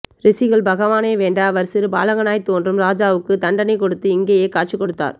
ரிஷிகள் பகவானை வேண்ட அவர் சிறு பாலகனாய் த் தொன்று ராஜாவுக்கு தண்டனை கொடுத்து இங்கேயே காட்சி கொடுத்தார்